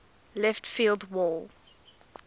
left field wall